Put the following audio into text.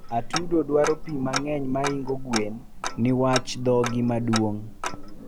atudo dwaro pii mangeny mahingo gweno niwach dhogi maduong